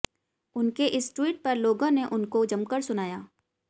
उनके इस ट्वीट पर लोगों ने उनको जमकर सुनाया